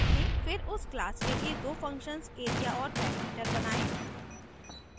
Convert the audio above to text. फिर उस class के लिए दो functions area और perimeter बनायें